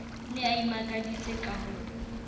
ne a imakaditse ka ho